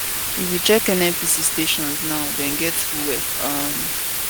if you check nnpc stations now dem get fuel um